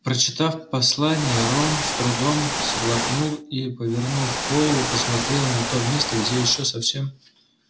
прочитав послание рон с трудом сглотнул и повернув голову посмотрел на то место где ещё совсем